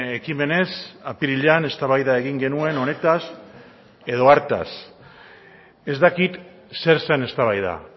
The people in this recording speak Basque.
ekimenez apirilean eztabaida egin genuen honetaz edo hartaz ez dakit zer zen eztabaida